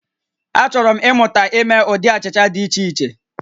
Achọrọ m ịmụta ime ụdị achịcha dị iche iche